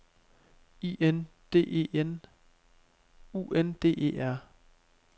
I N D E N U N D E R